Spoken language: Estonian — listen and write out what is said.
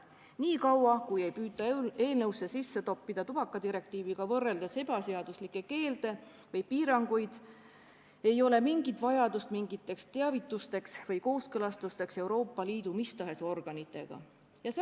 Niikaua, kui ei püüta eelnõusse sisse toppida tubakadirektiiviga võrreldes ebaseaduslikke keelde või piiranguid, ei ole mingit teavituste või Euroopa Liidu mis tahes organitega kooskõlastamise vajadust.